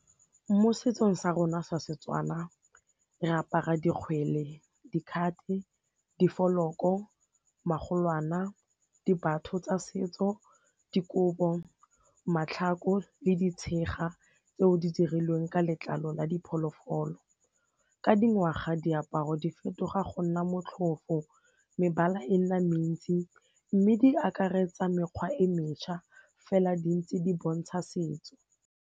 Mo setsong sa rona sa seTswana re apara dikgwele, dikhate, difoloko, magolwana, dibatho tsa setso, dikobo, matlhako le di tshega tseo di dirilweng ka letlalo la diphologolo. Ka dingwaga diaparo di fetoga go nna motlhofo, mebala e nna mentsi, mme di akaretsa mekgwa e mentšha fela di ntse di bontsha setso.